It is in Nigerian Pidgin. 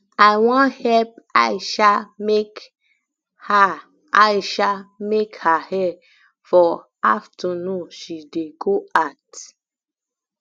i wan help aisha make her aisha make her hair for afternoon she dey go out